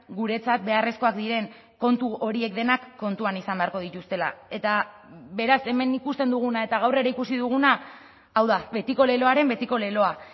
guretzat beharrezkoak diren kontu horiek denak kontuan izan beharko dituztela eta beraz hemen ikusten duguna eta gaur ere ikusi duguna hau da betiko leloaren betiko leloa